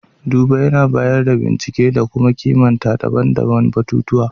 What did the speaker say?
duba yAna bayar da bincike da kuma kimanta daban-daban batutuwa